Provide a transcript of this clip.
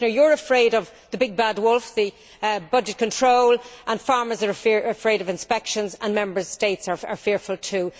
Commissioner, you are afraid of the big, bad wolf budgetary control and farmers are afraid of inspections and Member States are fearful too.